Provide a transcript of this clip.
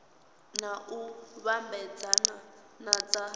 na u vhambedzea na dza